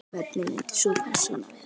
Hvernig myndi sú persóna vera?